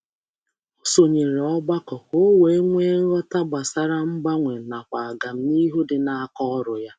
Ọ sonyere otu nkuzi iji iji nweta nghọta gbasara mgbanwe na mmepe n’ọrụ.